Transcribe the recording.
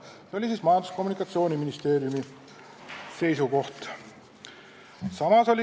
Selline oli siis Majandus- ja Kommunikatsiooniministeeriumi seisukoht.